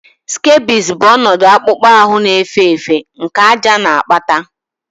Scabies bụ ọnọdụ akpụkpọ ahụ na-efe efe nke àjà na-akpata